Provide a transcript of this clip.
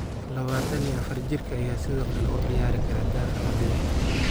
24-jirka ayaa sidoo kale u ciyaari kara daafac bidix.